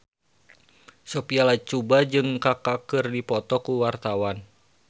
Sophia Latjuba jeung Kaka keur dipoto ku wartawan